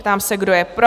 Ptám se, kdo je pro?